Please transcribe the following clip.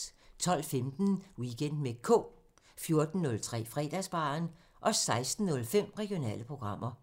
12:15: Weekend med K 14:03: Fredagsbaren 16:05: Regionale programmer